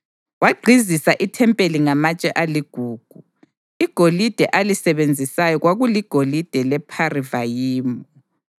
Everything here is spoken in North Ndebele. Wagqizisa ithempeli ngamatshe aligugu. Igolide alisebenzisayo kwakuligolide lePharivayimu.